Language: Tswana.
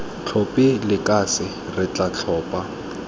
tlhophe lekase re tla tlhopha